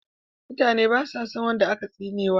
Mutane basa son wanda aka tsinewa